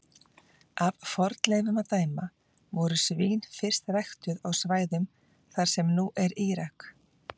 Af fornleifum að dæma voru svín fyrst ræktuð á svæðum þar sem nú er Írak.